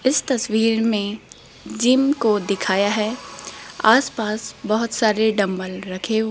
इस तस्वीर में जिम को दिखाया है आस पास बहुत सारे डंबल रखे हुए --